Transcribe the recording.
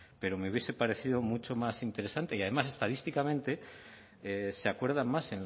pero me hubiese parecido mucho más interesante y además estadísticamente se acuerdan más